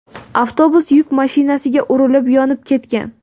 Avtobus yuk mashinasiga urilib, yonib ketgan.